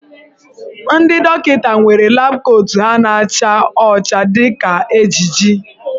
Ndị dọkịta nwere lab kootu ha na-acha ọcha dị ka ejiji.